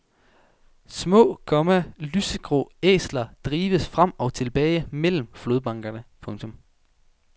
Små, komma lysegrå æsler drives frem og tilbage mellem flodbankerne. punktum